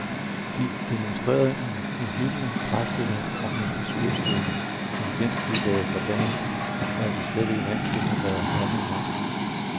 De demonstrerede en uhyggelig træfsikkerhed, og en skudstyrke, som den, de lagde for dagen, er vi slet ikke vant til at være oppe mod.